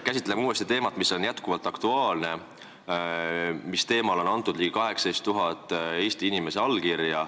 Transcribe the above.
Käsitleme uuesti teemat, mis on jätkuvalt aktuaalne ja mille kohta on andnud allkirja ligi 18 000 Eesti inimest.